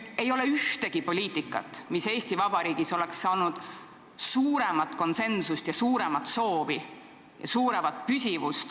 Ei ole ühtegi poliitikat, mille toetus oleks Eesti Vabariigis leidnud suuremat konsensust kui kõrgema riigipensioni tagamise poliitika.